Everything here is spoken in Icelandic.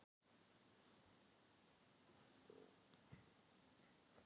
spyrja þeir á sínu ískalda tungumáli.